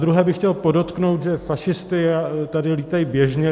Zadruhé bych chtěl podotknout, že fašisti tady lítají běžně.